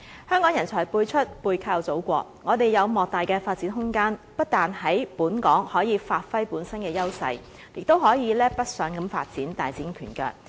香港人才輩出，背靠祖國，我們有莫大的發展空間，不但可以在本港發揮本身的優勢，也可以北上發展，大展拳腳。